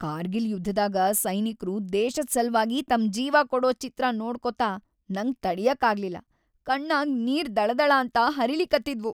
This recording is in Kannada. ಕಾರ್ಗಿಲ್ ಯುದ್ಧದಾಗ ಸೈನಿಕ್ರು ದೇಶದ್‌ ಸಲ್ವಾಗಿ ತಮ್ ಜೀವಾ ಕೊಡೂ ಚಿತ್ರಾ ನೋಡ್ಕೋತ ನಂಗ್ ತಡ್ಯಾಕಾಗ್ಲಿಲ್ಲಾ.. ಕಣ್ಣಾಗ್ ನೀರ್ ದಳಾದಳಾಂತ ಹರಿಲಿಕತ್ತಿದ್ವು.